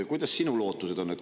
Millised sinu lootused on?